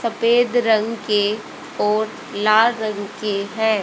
सफेद रंग के और लाल रंग के हैं।